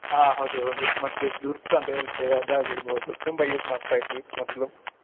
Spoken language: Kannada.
ಹಾ ಹೌದ್ ಮತ್ತೆ ದುರ್ಸ್ ದುರ್ಸ್ ಅಂತಾ ಹೇಳತೆವ ಅದಾಗಿರಬಹುದು ತುಂಬಾ use ಮಾಡ್ತಾಯಿದ್ವಿ ಮೊದ್ಲು.